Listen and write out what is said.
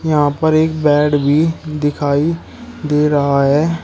यहां पर एक बेड भी दिखाई दे रहा है।